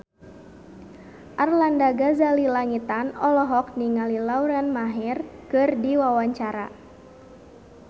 Arlanda Ghazali Langitan olohok ningali Lauren Maher keur diwawancara